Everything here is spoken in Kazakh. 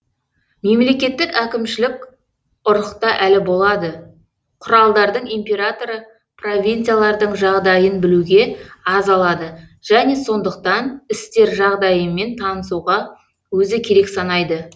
мемлекеттік әкімшілік ұрықта әлі болады құралдардың императоры провинциялардың жағдайын білуге аз алады және сондықтан істер жағдайымен танысуға өзі керек санайды